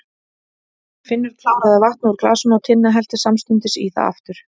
Finnur kláraði vatnið úr glasinu og Tinna hellti samstundis í það aftur.